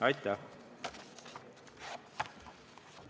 Aitäh!